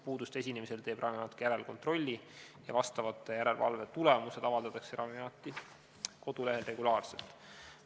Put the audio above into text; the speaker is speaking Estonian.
Puuduste esinemise korral teeb Ravimiamet järelkontrolli ja vastavad järelevalve tulemused avaldatakse Ravimiameti kodulehel regulaarselt.